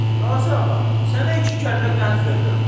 Qazı ağa, sənə iki kəllə qənd verirəm.